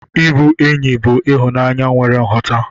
Ịbụ enyi bụ ịhụnanya nwere nghọta.